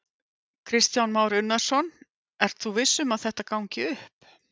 Kristján Már Unnarsson: Ert þú viss um að þetta gangi upp?